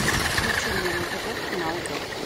включи мне на тв канал доктор